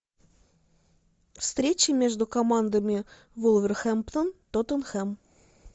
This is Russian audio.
встреча между командами вулверхэмптон тоттенхэм